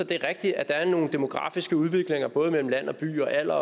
det er rigtigt at der er nogle demografiske udviklinger både mellem land og by og i alder